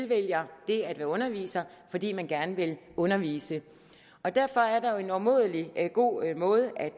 vælger at blive underviser fordi man gerne vil undervise derfor er der en umådelig god måde at